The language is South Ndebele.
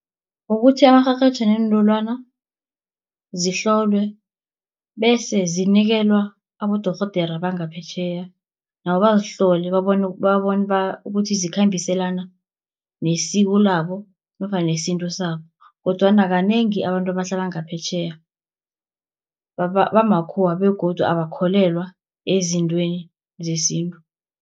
Ukuthi amarherhetjha neentolwana zihlolwe, bese zinikelwa abodorhodere bangaphetjheya, nabo bazihlole babone ukuthi zikhambiselana nesiko labo nofana nesintu sabo, kodwana kanengi abantu abahlala ngaphetjheya bamakhuwa, begodu abakholelwa ezintweni zesintu.